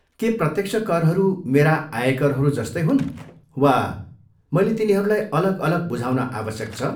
के प्रत्यक्ष करहरू मेरा आयकरहरू जस्तै हुन् वा मैले तिनीहरूलाई अलग अलग बुझाउन आवश्यक छ?